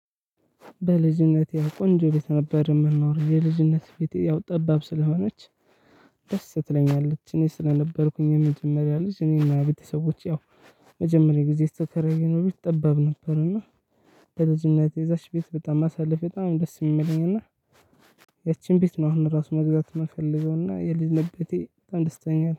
በልጅነቴ ቆንጆ ቤት ነበር የምንኖረው። የልጅነት ቤቴ ያው ጠባብ ስለሆነች ደስ ትለኛለች። እኔ ስለነበርኩኝ የመጀመሪያ ልጅ እኔ ና ቤተሰቦቼ ያው መጀመሪያ ጊዜ የተከራየነው ጠባብ ነበር እና በልጅነቴ እዛች ቤት በጣም ማሳለፌ በጣም ደስ የሚለኝ እና- ያችን ቤት ነው አሁን ራሱ መግዛት የምፈልገውና የልጅ ቤቴ በጣም ደስ ትለኛለች።